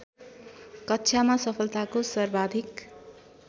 कक्षामा सफलताको सर्वाधिक